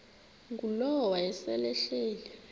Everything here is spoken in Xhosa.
ngulowo wayesel ehleli